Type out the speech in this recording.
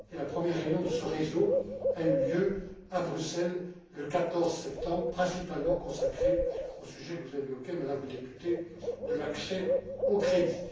La première réunion de ce réseau a eu lieu à Bruxelles le 14 septembre et a été principalement consacrée au sujet que vous avez évoqué, Madame le député, de l'accès au